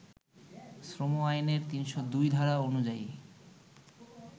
শ্রম আইনের ৩০২ ধারা অনুযায়ী